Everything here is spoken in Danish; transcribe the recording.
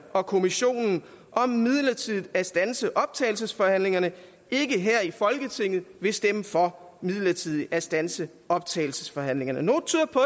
og kommissionen om midlertidigt at standse optagelsesforhandlingerne ikke her i folketinget vil stemme for midlertidigt at standse optagelsesforhandlingerne noget tyder på